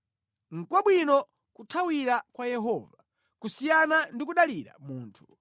Nʼkwabwino kuthawira kwa Yehova kusiyana ndi kudalira munthu.